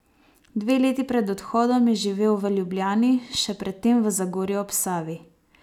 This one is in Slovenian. Dve leti pred odhodom je živel v Ljubljani, še pred tem v Zagorju ob Savi.